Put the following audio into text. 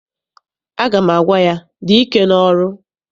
Aga m agwa ya, dị ike n'ọrụ!